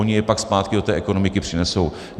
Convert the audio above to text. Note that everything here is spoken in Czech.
Oni je pak zpátky do té ekonomiky přinesou.